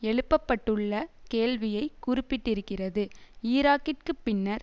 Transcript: எழுப்பப்பட்டுள்ள கேள்வியை குறிப்பிட்டிருக்கிறது ஈராக்கிற்கு பின்னர்